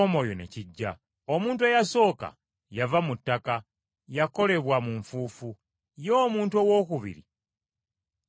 Omuntu eyasooka yava mu ttaka, yakolebwa mu nfuufu. Ye omuntu owookubiri yava mu ggulu.